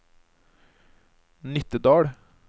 Nittedal